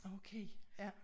Okay ja